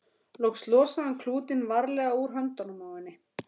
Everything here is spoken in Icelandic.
Loks losaði hann klútinn varlega úr höndunum á henni.